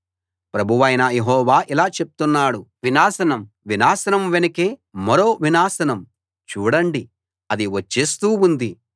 ప్రభువైన యెహోవా ఇలా చెప్తున్నాడు వినాశనం వినాశనం వెనుకే మరో వినాశనం చూడండి అది వచ్చేస్తూ ఉంది